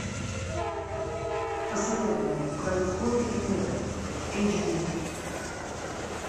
посоветуй мне в краю крови и меда эйч ди